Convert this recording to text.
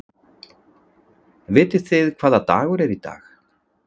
Vitið þið hvaða dagur er í dag?